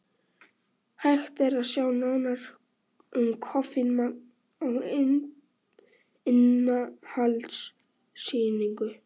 Hægt er sjá nánar um koffínmagn á innihaldslýsingu.